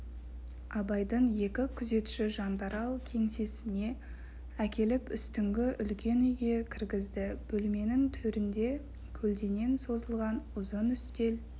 абайды екі күзетші жандарал кеңсесіне әкеліп үстіңгі үлкен үйге кіргізді бөлменің төрінде көлденең созылған ұзын үстел